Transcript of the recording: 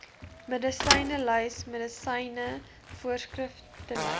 medisynelys medisyne voorskriflys